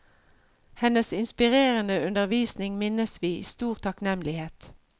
Hennes inspirerende undervisning minnes vi i stor takknemlighet.